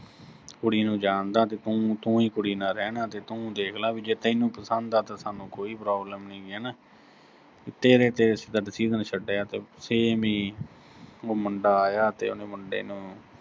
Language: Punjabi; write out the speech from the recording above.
ਕੁੜੀ ਨੂੰ ਜਾਣਦਾ ਤੇ ਤੂੰ, ਤੂੰ ਹੀ ਕੁੜੀ ਨਾਲ ਰਹਿਣਾ ਤੇ ਤੂੰ ਦੇਖ ਲਾ ਵੀ ਜੇ ਤੈਨੂੰ ਪਸੰਦ ਆ ਤਾਂ ਸਾਨੂੰ ਕੋਈ problem ਨੀਂ ਗੀ ਵੀ ਹਨਾ, ਤੇਰੇ ਤੇ ਅਸੀਂ ਤਾਂ decision ਛੱਡਿਆ, ਉਹ ਮੁੰਡਾ ਆਇਆ ਤੇ ਉਹਨੇ ਮੁੰਡੇ ਨੂੰ